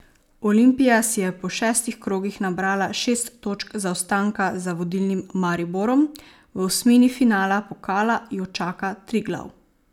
Olimpija si je po šestih krogih nabrala šest točk zaostanka za vodilnim Mariborom, v osmini finala pokala jo čaka Triglav.